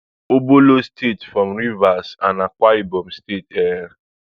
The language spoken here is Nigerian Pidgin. obolo state from rivers and akwa ibom states um